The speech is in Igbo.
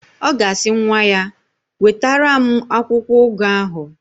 Ọ ga-asị nwa ya, "wetara m akwụkwọụgụ ahụ"!